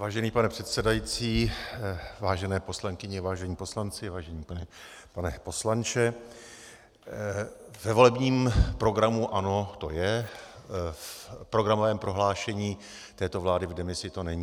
Vážený pane předsedající, vážené poslankyně, vážení poslanci, vážený pane poslanče, ve volebním programu ANO to je, v programovém prohlášení této vlády v demisi to není.